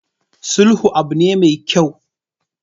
Sulhu abu ne mai kyau.